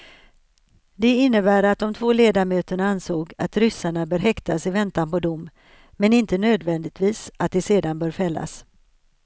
Det innebär att de två ledamöterna ansåg att ryssarna bör häktas i väntan på dom, men inte nödvändigtvis att de sedan bör fällas.